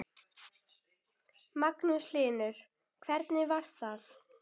Magnús Hlynur: Hvernig var það?